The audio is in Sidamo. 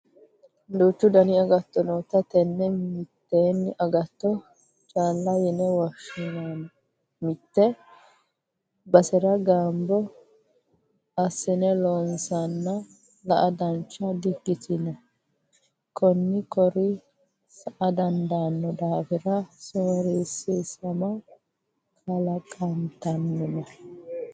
Duuchu dani agatto nootta tene mitteenni agatto calla yine woshshanna mitte basera gamba assine loonsanna la"a dancha di"ikkitino koihu koira sa"a dandaano daafira sorisiisama kalaqantanonna.